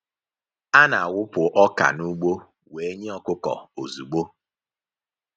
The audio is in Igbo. A na-awụpụ ọka n’ugbo wee nye ọkụkọ ozugbo.